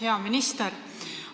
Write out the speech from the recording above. Hea minister!